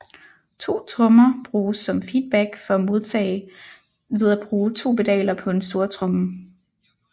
To trommer bruges som feedback for at modtage ved at bruge to pedaler på en stortromme